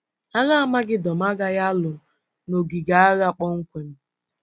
Agha Amagedọn agaghị alụ n’ogige agha kpọmkwem.